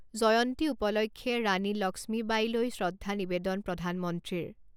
জয়ন্তী উপলক্ষে ৰাণী লক্ষ্মীবাঈলৈ শ্ৰদ্ধা নিবেদন প্ৰধানমন্ত্ৰীৰ